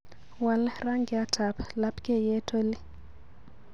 Waal rangyatab labkeiyet oli